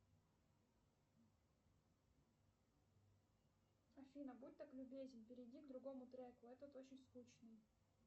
афина будь так любезен перейди к другому треку этот очень скучный